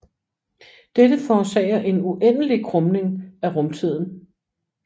Dette forårsager en uendelig krumning af rumtiden